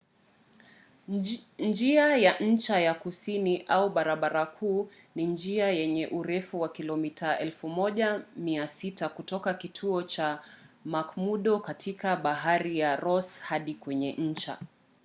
njia ya ncha ya kusini au barabara kuu ni njia yenye urefu wa kilomita 1600 kutoka kituo cha mcmurdo katika bahari ya ross hadi kwenye ncha